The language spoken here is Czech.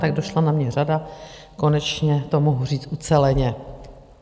Tak došla na mě řada, konečně to mohu říct uceleně.